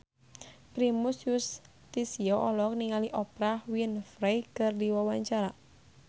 Primus Yustisio olohok ningali Oprah Winfrey keur diwawancara